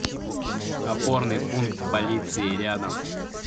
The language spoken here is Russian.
опорный пункт полиции рядом